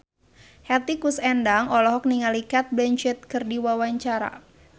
Hetty Koes Endang olohok ningali Cate Blanchett keur diwawancara